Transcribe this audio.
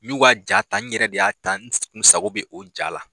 N ɲu ka ja ta n yɛrɛ de y'a ta n sago bɛ o ja la.